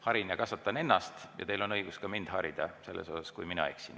Harin ja kasvatan ennast ja teil on õigus mind harida, kui mina eksin.